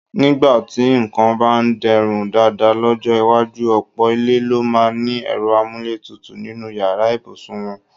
Nígbà tí nǹkan bá de̩rùn dáadáa ló̩jó̩ iwájú, ò̩pò̩ ilé ló máa ní e̩ro̩ amúlétutù nínú yàrá ìbùsùn wo̩̣n.